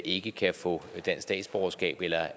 ikke kan få dansk statsborgerskab eller